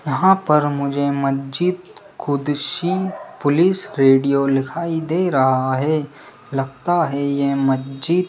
यहां पर मुझे मजीद क़ुदसी पुलिस रेडियो लिखाई दे रहा है लगता है ये मजीद --